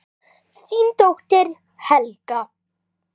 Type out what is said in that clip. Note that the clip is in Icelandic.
Þín dóttir Helga.